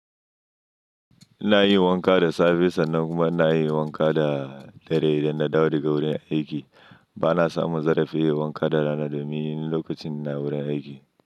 Ina yi wanka da safe sannan kuma ina yi wanka da dare idan na dawo daga wurin aiki. Bana samun zarafi yin wanka da rana domin lokacin ina wurin aiki.